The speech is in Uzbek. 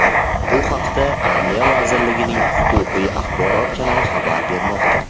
Bu haqda Adliya vazirligining Huquqiy axborot kanali xabar bermoqda .